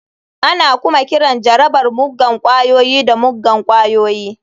Ana kuma kiran jarabar muggan ƙwayoyi da muggan ƙwayoyi.